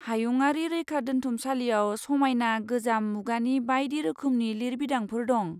हायुंआरि रैखादोन्थुमसालियाव समायना गोजाम मुगानि बायदि रोखोमनि लिरबिदांफोर दं।